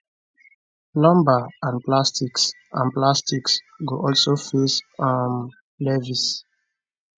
lumber and plastics and plastics go also face um levies